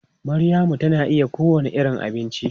Maryamu tana iya yin kowane irin abinci.